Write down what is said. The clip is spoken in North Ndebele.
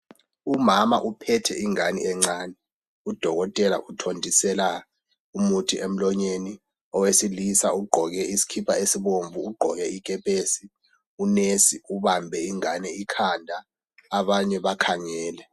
Umama uphethe umntwana omncane udokotela uthontisela umuthi emlonyeni owesilisa ugqoke isikipa esibomvu ugqoke ikepesi unurse ubambe umntwana ikhanda abanye bakhangele.